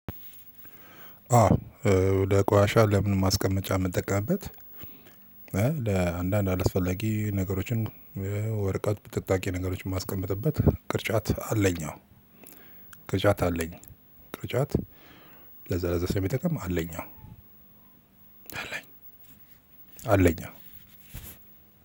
አዎ ለቋሻ ለምንም ማስቀመጫ የምጠቀምበት ለአንዳንድ አላስፈላጊ ነገሮችን ወረቀት ቅንብጣብ ነገሮች የማስቀምጥበት ቅርጫት አለኝ። አዎ ቅርጫት አለኝ። ቅርጫት ለዛ ለዛ የሚጠቅም አለኝ። አለኝ አለኝ አዎ።